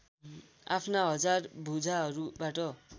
आफ्ना हजार भुजाहरूबाट